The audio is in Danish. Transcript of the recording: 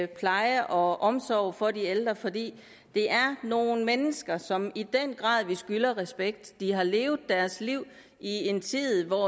pleje og omsorg for de ældre fordi det er nogle mennesker som i den grad skylder respekt de har levet deres liv i en tid hvor